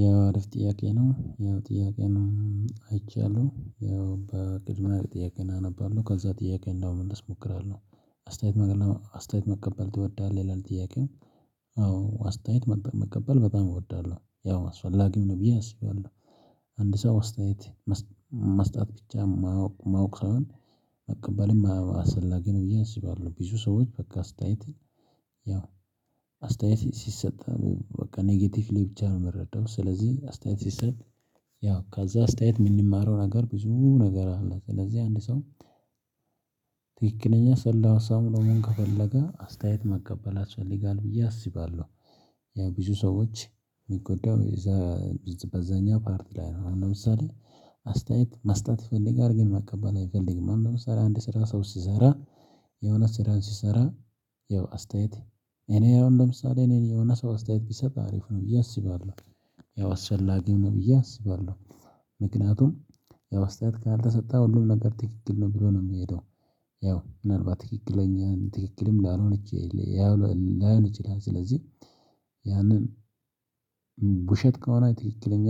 ያው አረፍ ጥያቄ ነው ያው ጥያቄ ነው አይቻለሁ ያው በቅድሚያ ጥያቄውን አነባለሁ ከዛ ጥያቄ ለመመለስ እሞክራለሁ። አስተያየት ነገር ነው አስተያየት መቀበል ትወዳለህ ይላል ጥያቄም? መቀበል በጣም እወዳለሁ ያው አስፈላጊም ነው ብዬ አስባለሁ። አንድ ሰው አስተያየት መስጠት ብቻ ማወቅ ሳይሆን መቀበልም አስፈላጊ ነው ብዬ አስባለሁ። ብዙ ሰዎች በቃ አስተያየት ያው አስተያየት ሲሰጠን በቃ ኔጌቲቭ ላይ ብቻ ነው የሚረዳው። ስለዚህ አስተያየት ሲሰጥ ያው ከዛ አስተያየት የምንማረው ነገር ብዙ ነገር አለ። ስለዚህ አንድ ሰው ትክክለኛ ሰላማዊ ሰው መሆን ከፈለገ አስተያየት መቀበል አስፈላጊ ጋር ብዬ አስባለሁ። ያው ብዙ ሰዎች የሚጎዳው እዛ በዛኛው ፓርት ላይ ነው። እና ለምሳሌ አስተያየት መስጠት ይፈልጋል ግን መቀበል አይፈልግም። ለምሳሌ አንድ ስራ ሰው ሲሰራ የሆነ ስራን ሲሰራ ያው አስተያየት እኔ ያው ለምሳሌ እኔ የሆነ ሰው አስተያየት ቢሰጥ አሪፍ ነው ብዬ አስባለሁ። ያው አስቸላጊም ነው ብዬ አስባለሁ። ምክንያቱም ያው አስተያየት ካልተሰጠ ሁሉም ነገር ትክክል ነው ብሎ ነው የሚሄደው። ያው ምናልባት ትክክለኛን ትክክልም ላይሆን ይችላል። ስለዚህ ያንን ውሸት ከሆነ ትክክለኛ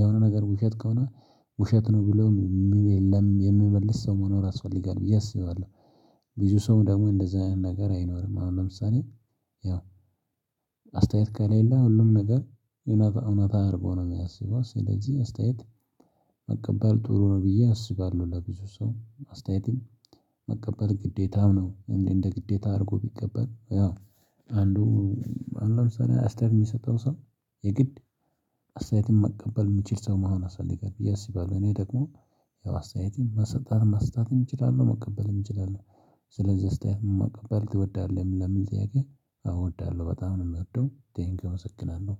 የሆነ ነገር ውሸት ከሆነ ውሸት ነው ብሎ የሚል የለም የሚመልስ ሰው መኖር ያስፈልጋል ብዬ አስባለሁ። ብዙ ሰው ደግሞ እንደዛ አይኖርም አሁን ለምሳሌ ያው አስተያየት ከሌለ ሁሉም ነገር የሆነ እውነት እውነት አድርጎ ነው የሚያስበው። ስለዚህ አስተያየት መቀበል ጥሩ ነው ብዬ አስባለሁ። ለብዙ ሰው አስተያየትም መቀበል ግዴታም ነው። እንዴ እንደ ግዴታ አድርጎ ቢቀበል ያው አንዱ አሁን ለምሳሌ አስተር የሚሰጠው ሰው የግድ አስተያየትን መቀበል የሚችል ሰው መሆን አሳልጋለሁ ብዬ የስ ይባላል። እኔ ደግሞ ያው አስተያየቴን መሰጠት መስጠትም እችላለሁ መቀበልም እችላለሁ። ስለዚህ አስተያየት መቀበል ትወዳለህ? ለምን ጥያቄ እወዳለሁ በጣም ነው የምወደው ቴንኪው መስክናን ነው።